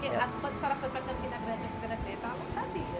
Que, a, quando a senhora foi para Campina Grande a primeira vez, ela não sabia.